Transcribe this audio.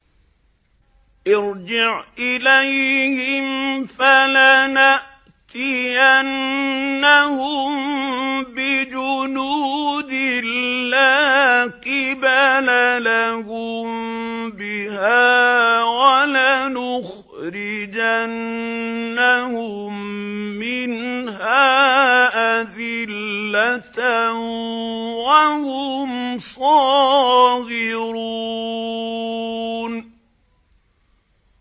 ارْجِعْ إِلَيْهِمْ فَلَنَأْتِيَنَّهُم بِجُنُودٍ لَّا قِبَلَ لَهُم بِهَا وَلَنُخْرِجَنَّهُم مِّنْهَا أَذِلَّةً وَهُمْ صَاغِرُونَ